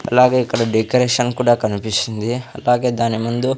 అలాగే ఇక్కడ డెకరేషన్ కూడా కన్పిస్తుంది అలాగే దాని ముందు--